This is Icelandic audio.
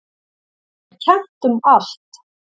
Þekkt er kennt um allt.